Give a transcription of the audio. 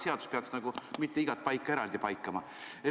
Seadus ei peaks igat paika eraldi paikama.